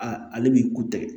ale b'i ku tɛgɛ